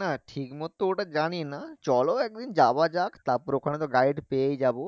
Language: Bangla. না ঠিক মতো ওটা জানি না চলো একদিন যাওয়া যাক তারপর ওখানে তো guide পেয়েই যাবো